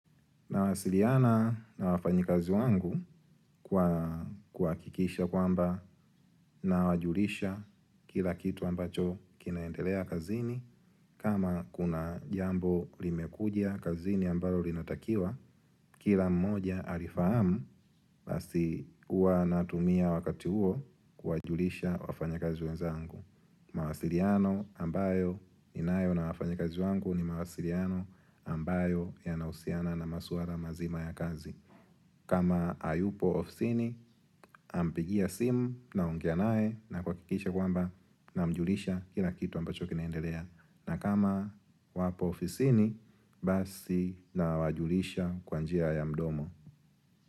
Nawasiliana na wafanyikazi wangu kuhakikisha kwamba nawajulisha kila kitu ambacho kinaendelea kazini kama kuna jambo limekuja kazini ambayo linatakiwa kila mmoja alifahamu basi huwa natumia wakati huo kuwajulisha wafanyakazi wenzangu. Mawasiliano ambayo ninayo na wafanyakazi wangu ni mawasiliano ambayo yanahusiana na maswara mazima ya kazi kama hayupo ofisini nampigia simu naongea naye na kuhakikisha kwamba namjulisha kila kitu ambacho kinaendelea na kama wapo ofisini basi nawajulisha kwa njia ya mdomo.